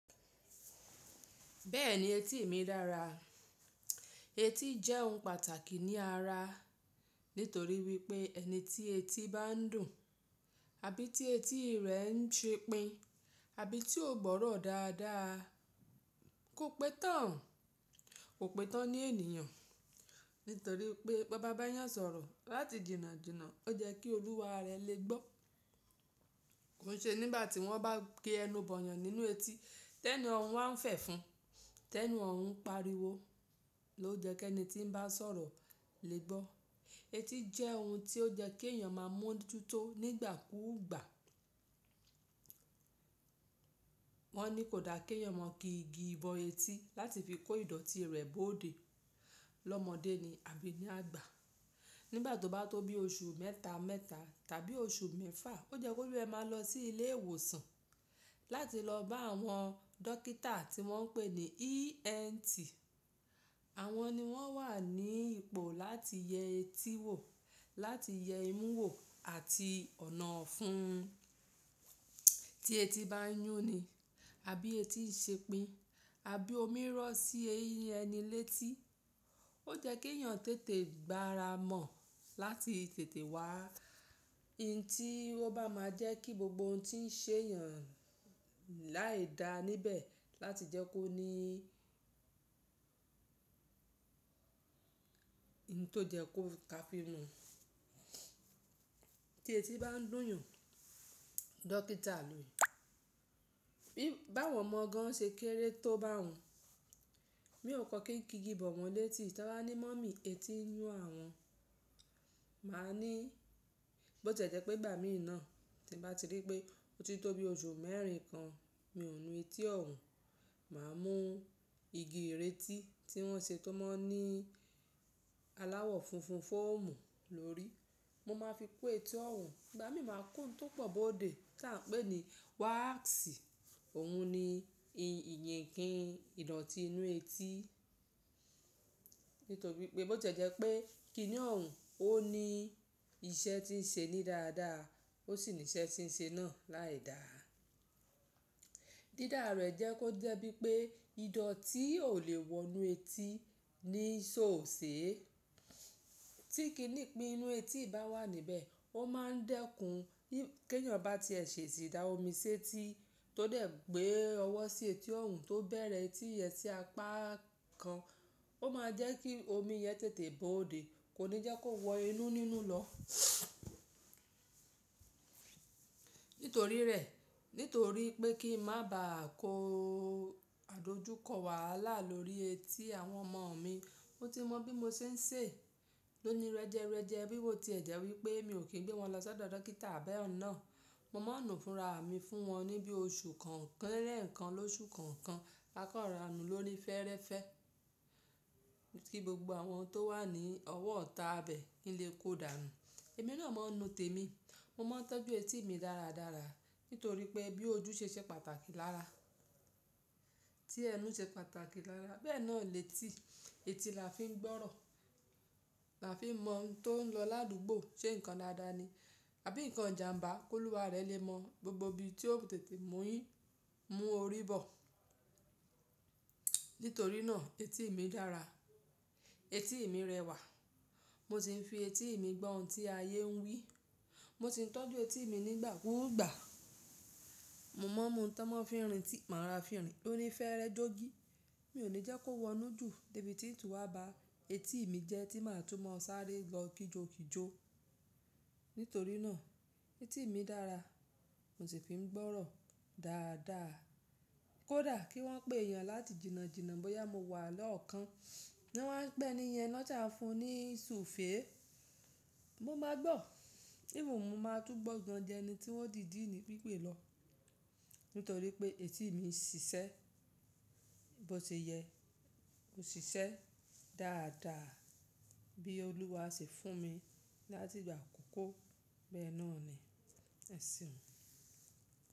Bẹ́ẹ̀ni etí ì mi dára. Etí jẹ́ ohun pàtàkì ní ara nítorí wípé ẹni tí etí bá ń dùn, àbí tí etí rẹ̀ ń ṣepin, àbí tí ó gbọ́rọ̀ dáadáa, kò pẹ́ tán, kò pẹ́ tán ní ènìyàn. Nítorí pé bó bá bá yàn sọ̀rọ̀ láti jìnnà jìnnà, ó yẹ́ kí olúwa rẹ lè gbọ́. Kò n ṣe nígbà tí wọ́n bá kí ẹnu bọ̀yàn nínú etí, tẹ́ni ọ̀hún alwa n fẹ̀ fún, tẹ́ni ọ̀hún ń pariwo ló jẹ́ kí ẹni tí ń bá sọ̀rọ̀ lè gbọ́. Etí jẹ́ ohun tí ó yẹ́ kí èèyàn máa mú ojú tó nígbàkúùgbà. Wọ́n ní kò da kí èèyàn máa kí igi bọ etí láti fi kó ìdọ̀tí rẹ̀ bóòde lọ́mọdé ni àbí ní àgbà. Nígbà tó bá tó bí oṣù mẹ́ta mẹ́ta tàbí oṣù mẹ́fa, ó jẹ́ kó lé ẹ máa lọ sí ilé ìwòsàn láti lọ bá àwọn dókítà tí wọ́n ń pè ní ENT. Àwọn ni wọ́n wà ní ipò láti yẹ etí wò, láti yẹ imú wò àti ọ̀nà ọ̀fun tí etí bá ń yún ni àbí etí n ṣe pín, àbí omi rọ̀ sí ẹni létí. Ó yẹ́ kí èèyàn tètè gbá ara mọ̀ láti tètè wá. Ìǹti ó bá máa jẹ́ kí gbogbo ohun tí ń ṣe èèyàn láì dá níbẹ̀ láti jẹ́ kó ní ìǹtò yẹ kó tá fi mu. Tí etí bá ń dùn yan, dókítà ni. Bí báwọn ọmọ gan ṣe kéré tó bá hun, mi ò kọ́ kí n kí igi bọ̀ wọ́n létí. Tí wọ́n bá ní mummy etí ń yún àwọn, màá ní bó ti e jẹ́ pé ìgbà mí náà tí bá ti rí pé ó ti tó bí oṣù mẹ́rin kan, mi ò nu etí ọ̀hún. Màá mú igi ìrètí tí wọ́n ṣe tó máa ń ní aláwọ̀ funfun fóòmù lórí. Mo máa fi pe etí ọ̀hún, ìgbà mí máa kó ohun tó pọ̀ bóòde tí à ń pè ní wáàsì. Òhun ni ìyìnkìí ìdọ̀tí inú etí. Nítorí pé bó ti e jẹ́ pé kíní ọ̀hún ó ní iṣẹ́ tí ń ṣe ní dáadáa, ó sì ní iṣẹ́ tí ń ṣe náà láì dà. Dídá rẹ̀ jẹ́ kó jẹ́ bí pé ìdọ̀tí ò lè wọ inú etí ní ṣòòsè. Tí kíní ìpín inú etí bá wà níbẹ̀, ó máa ń dẹ́kun kí èèyàn bá ti ẹsẹ̀ sída omi sé tí tó dẹ̀ gbé ọwọ́ sí etí ọ̀hún tó bẹ̀rẹ̀ etí yẹn sí apá kan. Ó máa jẹ́ kí omi yẹn tètè bóòde, kò ní jẹ́ kó wọ inú nínú lọ. Nítorí rẹ̀, nítorí pé kí n má ba à kó àdojúkọ wàhálà lórí etí àwọn ọmọ mi, mo ti mọ bí mo ṣe ń ṣe ló ni rẹjẹrẹjẹ bí wò tí ẹ̀ jẹ́ wípé mi ò kí gbé wọn lọ sọ́dọ̀ dókítà bẹ́un nà. Mo máa ń nu fúnra mi fún wọn ní bí oṣù kọ̀ọ̀kan lẹ̀ẹ́kan lọ́sù kọ̀ọ̀kan, ma kan rọra nu lóní fẹ́rẹ́fẹ́ kí gbogbo àwọn tó wà ní ọwọ́ ìtá ibẹ̀ kinle kó dà nù. Èmi náà mọ nu tèmi. Mo máa ń tọ́jú etí ì mi dáradára nítorí pé bí ojú ṣe ṣẹ pàtàkì lára, tí ẹnu ṣe pàtàkì lára, bẹ́ẹ̀ náà lètí. Etí là fi ń gbọ́rọ̀, là fi ń mọ ohun tó ń lọ ládùúgbò, ṣe nǹkan dáadáa ni àbí nǹkan ìjàǹbá kóluwa rẹ lè mọ gbogbo ibi tí ó tètè mú orí bọ̀. Nítorí náà etí ì mi dára. Etí ì mi rẹwà. Mo sì ń fi etí ì mi gbọ́ ohun tí ayé ń wí. Mo sì ń tọ́jú etí ì mi nígbàkúùgbà. Mo máa ń mú ohun tan ma fi ń rìn tí màá rọra fì rìn loní fẹ́rẹ́ jó gí. Mi ò ní jẹ́ kó wọ inú jù débi tí ìn tún wà bá etí ì mi jẹ́ tí màá tún mọ̀ sáré lọ kíjo kíjo. Nítorí náà etí ì mi dára. Mo sì fi ń gbọ́rọ̀ dáadáa. Kò da kí wọ́n pé èèyàn láti jìnnà jìnnà bóyá mo wà lọ́ọ̀kan. Wọ́n máa ń pẹ́ni yẹn lọ́jà fún un ní ṣu féé. Mo máa gbọ́. Even mo máa tún gbọ́ gan jù ẹni tí wọ́n dìdíì ní pípè lọ. Nítorí pé etí ì mi ṣiṣẹ́ bó ṣe yẹ, ó ṣiṣẹ́ dáadáa bí olúwa ṣe fún mi láti ìgbà àkọ́kọ́ bẹ́ẹ̀ náà ni. Ẹ̀ṣeun.